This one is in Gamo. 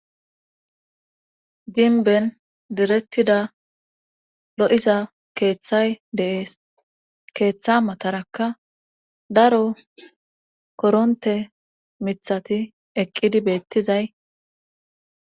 gimben direttida lo7iza keeththay de7ees keeththa matarakka daro koronte mithati eqqidi beettizay.